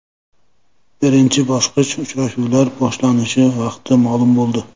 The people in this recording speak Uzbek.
Birinchi bosqich uchrashuvlari boshlanish vaqti ma’lum bo‘ldi.